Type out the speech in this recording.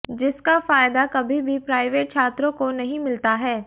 जिसका फायदा कभी भी प्राइवेट छात्रों को नहीं मिलता है